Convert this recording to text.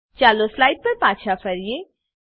ચાલો સ્લાઈડ પર પાછા ફરીએ